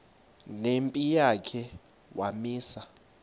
nempi yakhe wamisa